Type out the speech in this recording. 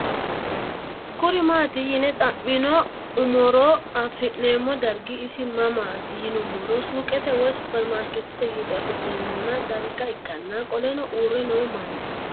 Kuri maati yine xamin umoro afine'mona darga isi mamati yiinumoro suqete woyi supermarket gido afine'mona darga ikana qoleno uure noo manna